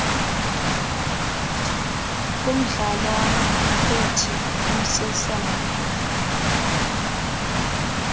kumdlalwana othi umsesane